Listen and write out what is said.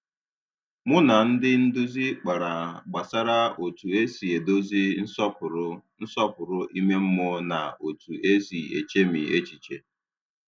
Mụ na ndị nduzi kpara gbasara otu esi edozi nsọpụrụ nsọpụrụ ime mmụọ na otu esi echemi echiche